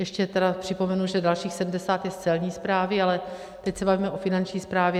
Ještě tedy připomenu, že dalších 70 je z Celní správy, ale teď se bavíme o Finanční správě.